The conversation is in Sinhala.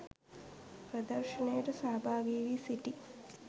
ප්‍රදර්ශනයට සහභාගි වී සිටි